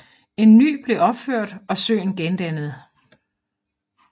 En ny blev opført og søen gendannet